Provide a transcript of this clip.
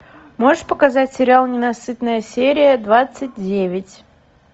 можешь показать сериал ненасытная серия двадцать девять